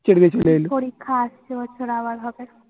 ছেড়ে দিয়ে চলে এলুম। পরিক্ষা আসছে ওর